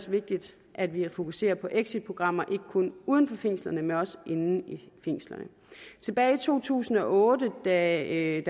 vigtigt at vi er fokuseret på exitprogrammer ikke kun uden for fængslerne men også inde i fængslerne tilbage i to tusind og otte da